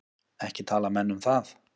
Ekki tala menn um það.